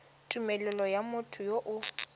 tumelelo ya motho yo o